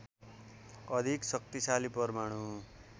अधिक शाक्तिशाली परमाणु